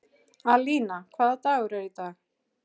Alína, hvaða dagur er í dag?